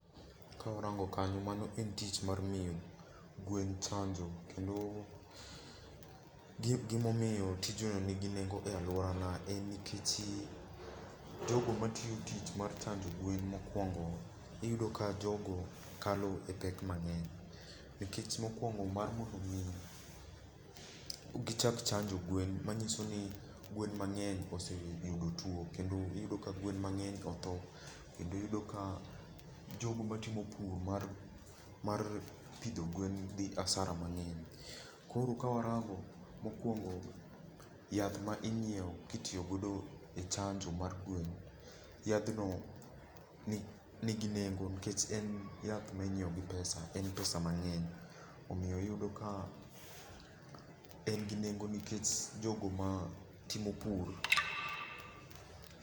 Ka warango kanyo, mano en tich mar miyo gwen chanjo. Kendo gima omiyo tij no nigi nengo e alwora na en nikech, jogo matiyo tich mar chanjo gwen mokuongo iyudo ka jogo kalo e pek mang'eny. Nikech mokuongo, mar mondo mi gichak chanjo gwen manyiso ni gwen mang'eny oseyudo tuo. Kendo iyudo ka gwen mang'eny otho. Kendo iyudo ka jogo matimo pur mar pidho gwen dhi hasara mang'eny. Koro kawarango mokuongo, yath ma inyiewo kitiyogodo e chanjo mar gwen, yadhno nigi nengo nikech en yath ma inyiewo gi pesa, en pesa mang'eny. Omiyo iyudo ka en gi nengo nikech jogo ma timo pur.